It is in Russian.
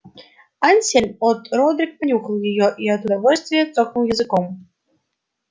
ансельм от родрик понюхал её и от удовольствия цокнул языком